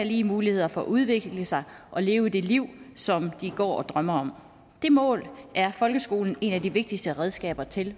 lige muligheder for at udvikle sig og leve det liv som de går og drømmer om det mål er folkeskolen et af de vigtigste redskaber til